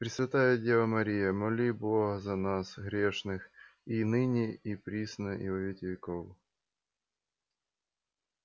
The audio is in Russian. пресвятая дева мария моли бога за нас грешных и ныне и присно и во веки веков